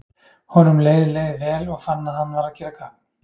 Honum leið leið vel, og fann að hann var að gera gagn.